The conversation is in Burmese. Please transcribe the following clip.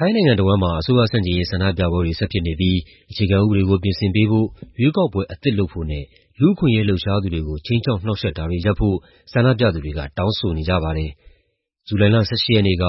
ိုင်းနိုင်ငံတဝန်းမှာ အစိုးရဆန့်ကျင်ရေး ဆန္ဒပြပွဲတွေ ဆက်ဖြစ်နေပြီး အခြေခံဥပဒေကို ပြင်ဆင်ပေးဖို့၊ ရွေးကောက်ပွဲအသစ်လုပ်ဖို့နဲ့ လူ့အခွင့်အရေး လှုပ်ရှားသူတွေကို ခြိမ်းခြောက် နှောင့်ယှက်တာတွေ ရပ်ဖို့ ဆန္ဒပြသူတွေက တောင်းဆိုနေကြပါတယ်။ ဇူလိုင်လ ၁၈ ရက်နေ့က